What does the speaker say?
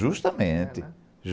Justamente.